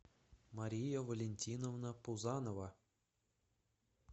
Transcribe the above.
мария валентиновна пузанова